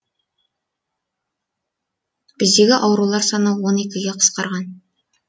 біздегі аурулар саны он екіге қысқарған